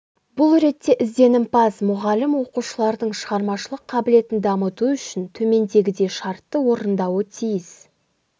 бұл ретте ізденімпаз мұғалім оқушылардың шығармашылық қабілетін дамыту үшін төмендегідей шарттарды орындауы тиіс